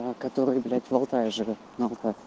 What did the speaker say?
который блять в алтае живёт на алтае